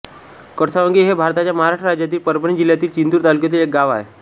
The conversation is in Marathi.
कडसावंगी हे भारताच्या महाराष्ट्र राज्यातील परभणी जिल्ह्यातील जिंतूर तालुक्यातील एक गाव आहे